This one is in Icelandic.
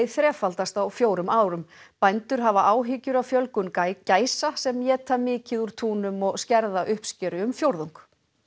þrefaldast á fjórum árum bændur hafa áhyggjur af fjölgun gæsa sem éta mikið úr túnum og skerða uppskeru um fjórðung